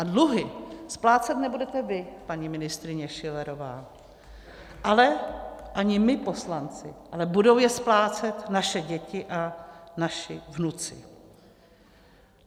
A dluhy splácet nebudete vy, paní ministryně Schillerová, ale ani my poslanci, ale budou je splácet naše děti a naši vnuci.